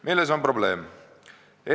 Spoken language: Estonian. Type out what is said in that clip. Milles on probleem?